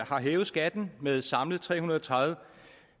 har hævet skatten med samlet tre hundrede og tredive